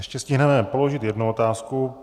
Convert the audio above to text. Ještě stihneme položit jednu otázku.